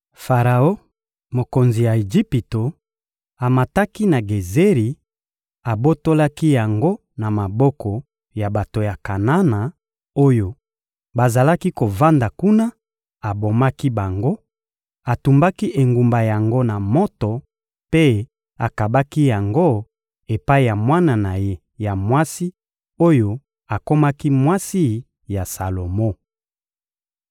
Faraon, mokonzi ya Ejipito, amataki na Gezeri, abotolaki yango na maboko ya bato ya Kanana oyo bazalaki kovanda kuna, abomaki bango, atumbaki engumba yango na moto mpe akabaki yango epai ya mwana na ye ya mwasi oyo akomaki mwasi ya Salomo.